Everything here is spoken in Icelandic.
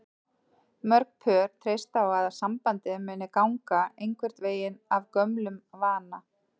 Mörg pör treysta á að sambandið muni ganga einhvern veginn af gömlum vana.